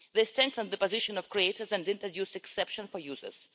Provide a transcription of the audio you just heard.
They strengthen the position of creators and introduce exceptions for users.